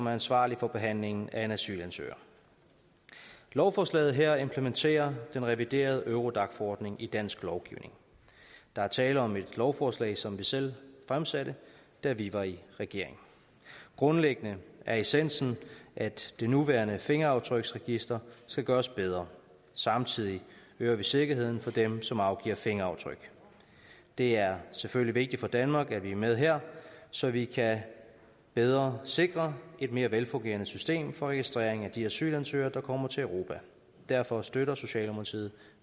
er ansvarligt for behandlingen af en asylansøger lovforslaget her implementerer den reviderede eurodac forordning i dansk lovgivning der er tale om et lovforslag som vi selv fremsatte da vi var i regering grundlæggende er essensen at det nuværende fingeraftryksregister skal gøres bedre og samtidig øger vi sikkerheden for dem som afgiver fingeraftryk det er selvfølgelig vigtigt for danmark at vi er med her så vi bedre sikre et mere velfungerende system for registrering af de asylansøgere der kommer til europa derfor støtter socialdemokratiet